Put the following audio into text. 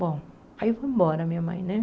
Bom, aí foi embora minha mãe, né?